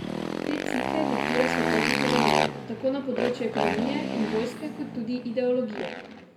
Te cikle diktira svetovni hegemon, tako na področju ekonomije in vojske kot tudi ideologije.